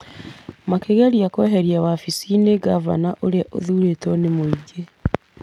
Makĩgeria kweheria wabici-inĩ ngavana ũrĩa ũthuurĩtwo nĩ mũingĩ.